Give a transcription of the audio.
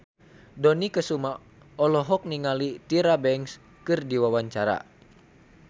Dony Kesuma olohok ningali Tyra Banks keur diwawancara